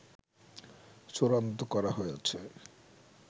চূড়ান্ত করা হয়েছে